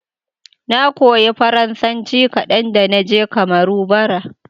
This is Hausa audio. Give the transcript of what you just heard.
Na koya Faransanci kadan da na je Kamaru, bara.